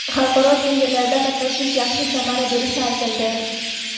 xalqaro tenderlarda qatnashish yaxshi samara berishi aytildi.